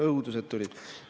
Õudused tulid.